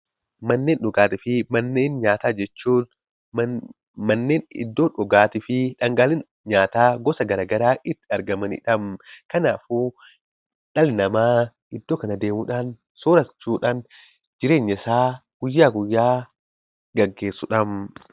Manneen dhugaatii fi manneen nyaataa jechuun iddoo dhugaatii fi dhangaaleen nyaataa gosa garaagaraa itti argamanidha. Kanaafuu dhalli namaa iddoo kana deemuudhaan soorachuudhaan jireenyasaa guyyaa guyyaa gaggeessudha.